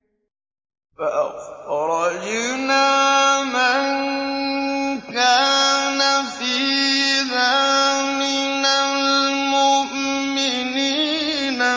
فَأَخْرَجْنَا مَن كَانَ فِيهَا مِنَ الْمُؤْمِنِينَ